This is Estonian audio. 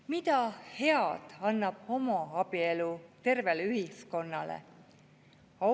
Mida head annab homoabielu tervele ühiskonnale?